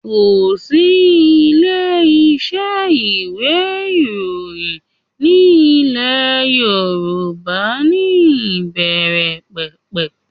Kò sí ilé-iṣẹ́ ìwé ìròyìn ní ilẹ̀ Yorùbá ní ìbẹ̀ẹ̀rẹ̀pẹ̀pẹ̀